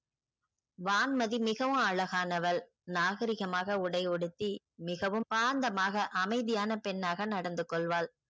வான்மதி மிகவும் அழகானவள் நாகரீகமாக உடை உடுத்தி மிகவும் பாந்தமாக அமைதியான பெண்ணாக நடந்துக்கொள்வாள்.